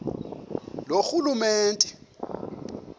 loorhulumente